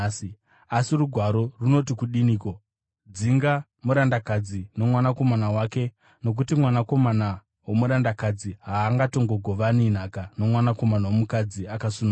Asi Rugwaro runoti kudiniko? “Dzinga murandakadzi nomwanakomana wake, nokuti mwanakomana womurandakadzi haangatongogovani nhaka nomwanakomana womukadzi akasununguka.”